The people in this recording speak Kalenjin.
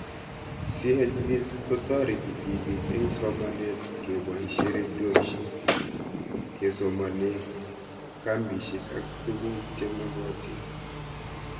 CHVs kotareti tipik eng' somanet kepoishe redioshek, kesomanee kambishek ak tuguk che magatin